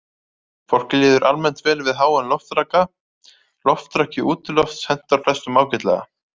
Fólki líður almennt vel við háan loftraka, loftraki útilofts hentar flestum ágætlega.